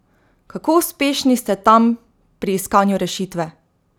Kako uspešni ste tam pri iskanju rešitve?